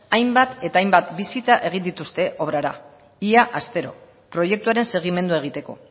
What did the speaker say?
hainbat eta hainbat bisita egin dituzte obrara ia astero proiektuaren segimendu egiteko